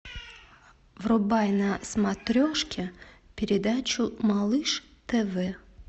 врубай на смотрешке передачу малыш тв